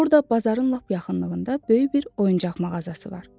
Orda bazarın lap yaxınlığında böyük bir oyuncaq mağazası var.